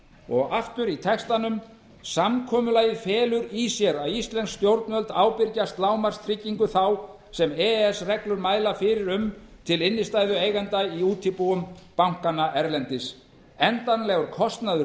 og aftur í textanum samkomulagið felur í sér að íslensk stjórnvöld ábyrgjast lágmarkstryggingu þá sem e e s reglur mæla fyrir um til innstæðueiganda í útibúum bankanna erlendis endanlegur kostnaður